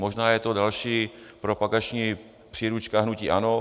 Možná je to další propagační příručka hnutí ANO.